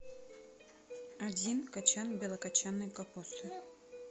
один кочан белокочанной капусты